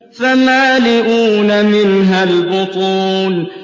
فَمَالِئُونَ مِنْهَا الْبُطُونَ